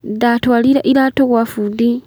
Ndatwarire iratũ gwa bundi